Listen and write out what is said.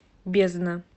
бездна